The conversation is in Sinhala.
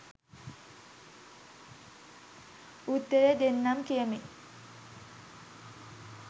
උත්තර දෙන්නම් කියමින්